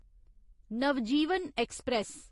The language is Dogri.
नवजीवन ऐक्सप्रैस